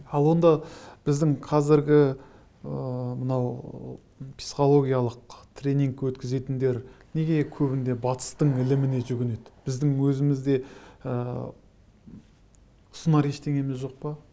ал онда біздің қазіргі ыыы мынау психологиялық тренинг өткізетіндер неге көбіне батыстың іліміне жүгінеді біздің өзімізде ыыы ұсынар ештеңеміз жоқ па